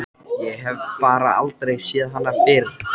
Ég hef bara aldrei séð hana fyrr.